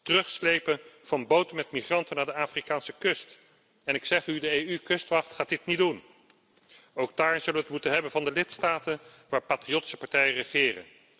Terugslepen van boten met migranten naar de Afrikaanse kust, en ik zeg u de EU kustwacht gaat dit niet doen. Ook daar zullen we het moeten hebben van de lidstaten waar patriottische partijen regeren.